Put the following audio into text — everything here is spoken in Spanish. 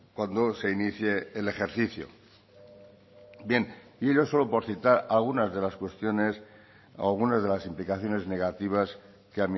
cuando se inicie el ejercicio bien y ello solo por citar algunas de las cuestiones algunas de las implicaciones negativas que